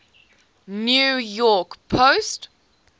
new york post